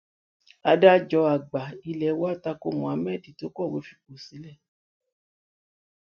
adájọ àgbà ilé wa tanko muhammad ti kọwé fipò sílẹ